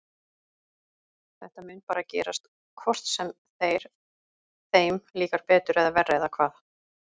Þetta mun bara gerast hvort sem þeir, þeim líkar betur eða verr eða hvað?